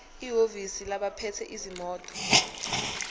ehhovisi labaphethe izimoto